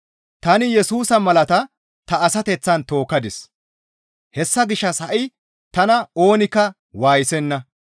Tani Yesusa malaata ta asateththan tookkadis; hessa gishshas ha7i tana oonikka waayisenna.